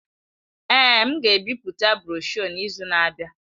Èé, m ga-ebipụta broshuọ n'izu na-abịa.